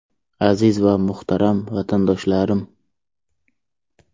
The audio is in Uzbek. Aziz va muhtaram vatandoshlarim!